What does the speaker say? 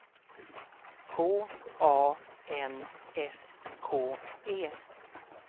K A N S K E